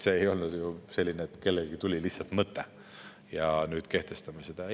See ei olnud ju nii, et kellelegi tuli lihtsalt mõte: nüüd kehtestame sanktsioonid.